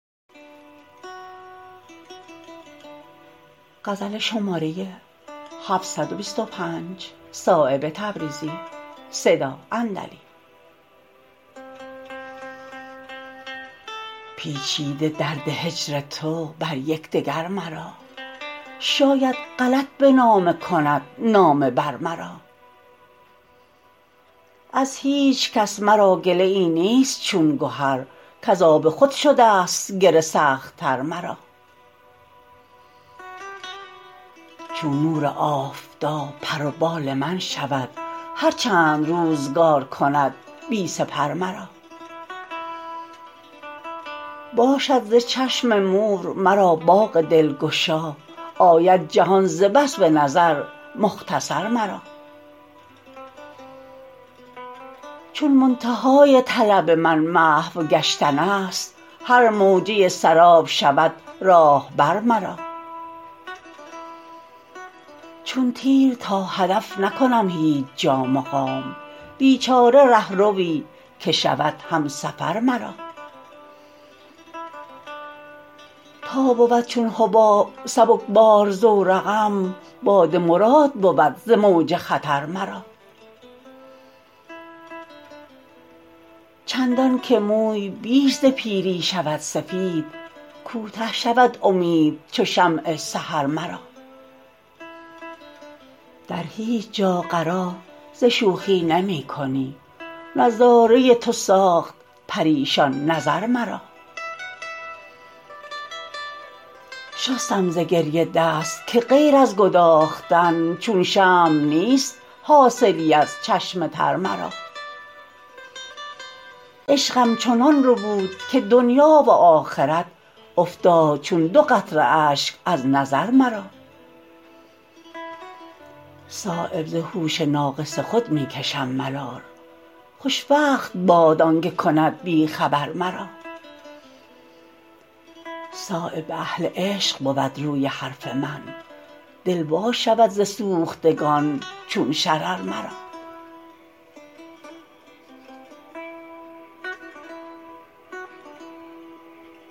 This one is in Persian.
پیچیده درد هجر تو بر یکدگر مرا شاید غلط به نامه کند نامه بر مرا از هیچ کس مرا گله ای نیست چون گهر کز آب خود شده است گره سخت تر مرا چون نور آفتاب پر و بال من شود هر چند روزگار کند بی سپر مرا باشد ز چشم مور مرا باغ دلگشا آید جهان ز بس به نظر مختصر مرا چون منتهای طلب من محو گشتن است هر موجه سراب شود راهبر مرا چون تیر تا هدف نکنم هیچ جا مقام بیچاره رهروی که شود همسفر مرا تا بود چون حباب سبکبار زور قم باد مراد بود ز موج خطر مرا چندان که موی بیش ز پیری شود سفید کوته شود امید چو شمع سحر مرا در هیچ جا قرار ز شوخی نمی کنی نظاره تو ساخت پریشان نظر مرا شستم ز گریه دست که غیر از گداختن چون شمع نیست حاصلی از چشم تر مرا عشقم چنان ربود که دنیا و آخرت افتاد چون دو قطره اشک از نظر مرا صایب ز هوش ناقص خود می کشم ملال خوشوقت باد آنکه کند بی خبر مرا صایب به اهل عشق بود روی حرف من دل وا شود ز سوختگان چون شرر مرا